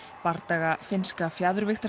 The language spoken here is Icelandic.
bardaga finnska